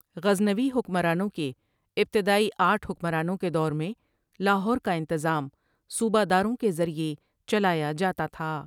غزنوی حکمرانوں کے ابتدئی آٹھ حکمرانوں کے دور میں لاہور کا انتظام صوبہ داروں کے ذریعہ چلایا جاتا تھا۔